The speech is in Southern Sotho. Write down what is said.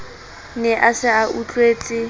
ne a se a utlwetse